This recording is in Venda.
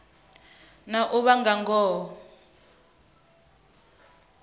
na u vha na ngoho